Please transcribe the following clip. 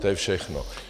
To je všechno.